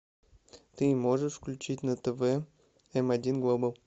ты можешь включить на тв м один глобал